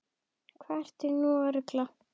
Hvað ertu nú að rugla!